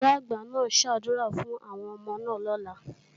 Ìyá-àgbà náà ó ṣàdúrà fún àwọn ọmọ náà lọ́la